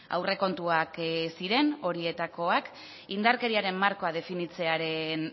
aurrekontuak ziren horietakoak indarkeriaren markoa definitzearen